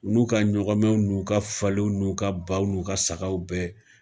U n'u ka ɲɔgɔnmɛw, n' u ka faliw, n'u ka baw, n'u ka sagaw bɛɛ